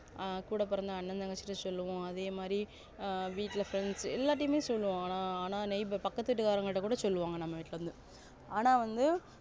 ஆஹ் கூட பிறந்த அண்ணா தங்கச்சிகிட்டா சொல்லுவோம் அதேமாதிரி வீட்டுல friends எல்லார்டிமே சொல்லுவோம் ஆனா பக்கத்து வீட்டிகாரங்க கிட்டகூட சொல்லுவாங்க நம்ம வீட்டுக்கு வந்து ஆனா வந்து